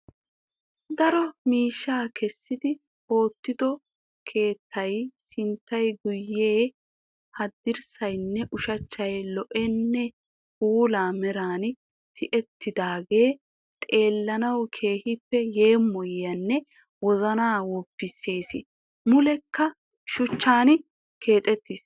Daro miishshaa keessidi oottido keettay sinttay guyyee haddirssaynne ushachchay lo"onne puula meeran tiyettidaagee xeellanawu keehippe yeemoyesinne wozanaa woppisees. Mulekka shuuchchan keexettiis.